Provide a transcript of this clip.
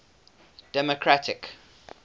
democratic